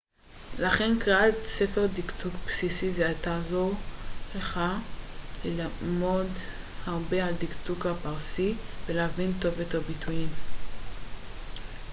לכן קריאת ספר דקדוק בסיסי זה תעזור לך ללמוד הרבה על הדקדוק הפרסי ולהבין טוב יותר ביטויים